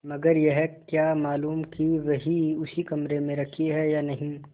मगर यह क्या मालूम कि वही उसी कमरे में रखी है या नहीं